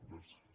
gràcies